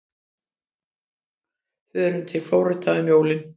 Förum við til Flórída um jólin?